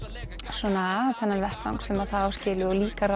svona þennan vettvang sem það á skilið og líka